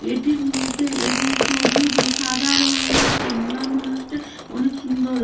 এটির মধ্যে এবং সবুজ ও সাদা রং রয়েছে। মা মনসটি অনেক সুন্দর।